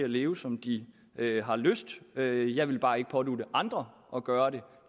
at leve som de har lyst til jeg vil bare ikke pådutte andre at gøre det